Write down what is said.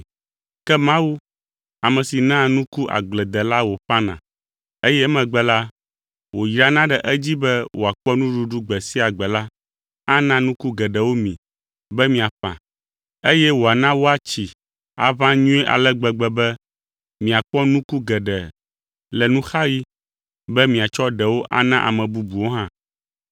Ke Mawu, ame si naa nuku agbledela wòƒãna, eye emegbe la, wòyrana ɖe edzi be wòakpɔ nuɖuɖu gbe sia gbe la ana nuku geɖewo mi be miaƒã, eye wòana woatsi aʋã nyuie ale gbegbe, be miakpɔ nuku geɖe le nuxaɣi, be miatsɔ ɖewo ana ame bubuwo hã.